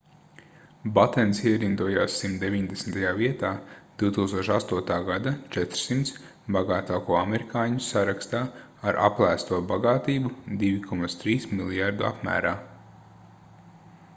batens ierindojās 190. vietā 2008. gada 400 bagātāko amerikāņu sarakstā ar aplēsto bagātību $2,3 mljrd apmērā